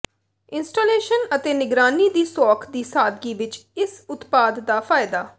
installation ਅਤੇ ਨਿਗਰਾਨੀ ਦੀ ਸੌਖ ਦੀ ਸਾਦਗੀ ਵਿਚ ਇਸ ਉਤਪਾਦ ਦਾ ਫਾਇਦਾ